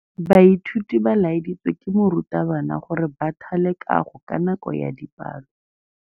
Baithuti ba laeditswe ke morutabana gore ba thale kagô ka nako ya dipalô.